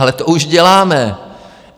Ale to už děláme.